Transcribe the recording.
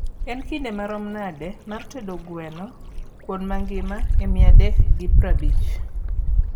en kinde marom nade mar tedo gweno kuon magima e mia dek gi praabich